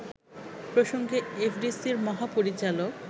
প্রসঙ্গে এফডিসিরি মহাপরিচালক